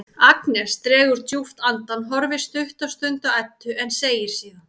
Agnes dregur djúpt andann, horfir stutta stund á Eddu en segir síðan